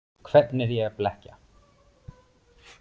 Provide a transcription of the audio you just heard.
Hvern er ég að blekkja?